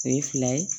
O ye fila ye